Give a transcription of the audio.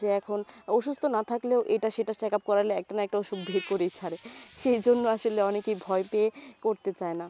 যে এখন অসুস্থ না থাকলেও এটা সেটা check up করালে একটা না একটা অসুখ বের করেই ছাড়ে সেই জন্য আসলে অনেকেই ভয় পেয়ে করতে চায়না